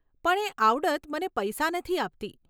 પણ એ આવડત મને પૈસા નથી આપતી.